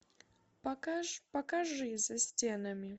покажи за стенами